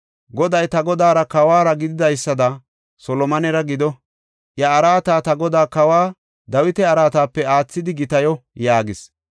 Goday ta godaara kawuwara gididaysada Solomonera gido; iya araata ta godaa Kawa Dawita araatape aathidi gitayo” yaagis.